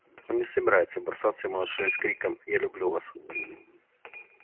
он не собирается бросаться ему на шею с криком я люблю вас